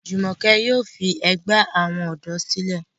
Jumoke yóò fí àgbè àwọn odò sílè.